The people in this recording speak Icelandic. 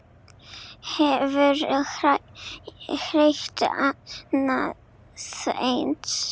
Hefurðu heyrt annað eins?